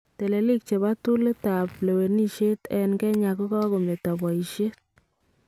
Teleliik chebo tool ab lewenisheet en Kenya kokameto bayisheet